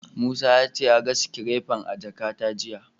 Musa ya ce ya ga sikirefar a jakata jiya.